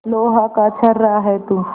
लोहा का छर्रा है तू